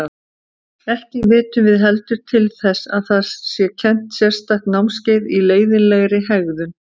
Ekki vitum við heldur til þess að þar sé kennt sérstakt námskeið í leiðinlegri hegðun.